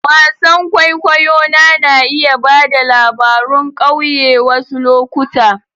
Wasan kwaikwayo na na iya ba da labarun ƙauye wasu lokuta.